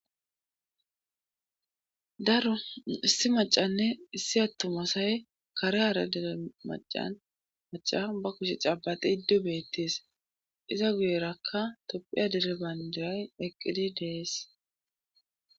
daro issi macanne issi attomasay kare hara dere macan maca ba kushe caabati iddu beettes iza guyerakka topphiya direban diray eqqidi dees